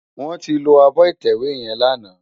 Wòn ti ló ábò itèwé yèn làná